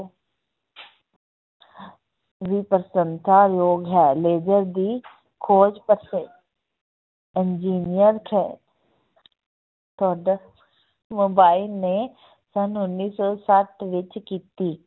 ਵੀ ਪ੍ਰਸੰਸਾ ਯੋਗ ਹੈ ਲੇਜ਼ਰ ਦੀ ਖੋਜ engineer ਖੈ~ mobile ਨੇ ਸੰਨ ਉੱਨੀ ਸੌ ਸੱਤ ਵਿੱਚ ਕੀਤੀ।